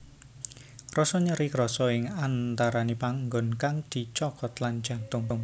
Rasa nyeri krasa ing antarane panggon kang dicokot lan jantung